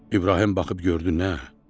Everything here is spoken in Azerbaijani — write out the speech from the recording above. İbrahim baxıb gördü nə?